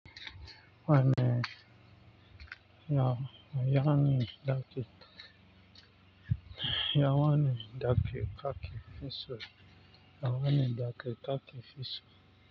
Wanne yaya ne dake. Ya wane daki ka ke fiso. Ya wane daki ka ke ciki?